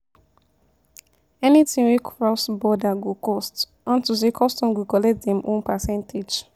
Anything wey cross border go cost unto say custom go collect dem own percentage.